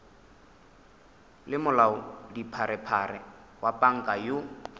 le molaodipharephare wa panka yoo